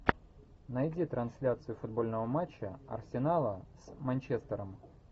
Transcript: найди трансляцию футбольного матча арсенала с манчестером